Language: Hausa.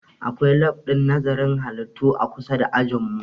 Akwai lab ɗin nazarin halittu a kusa da ajin mu